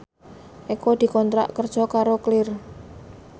Eko dikontrak kerja karo Clear